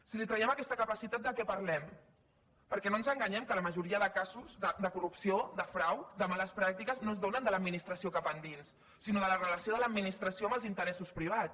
si li traiem aquesta capacitat de què parlem perquè no ens enganyem que la majoria de casos de corrupció de frau de males pràctiques no es donen de l’administració cap endins sinó de la relació de l’administració amb els interessos privats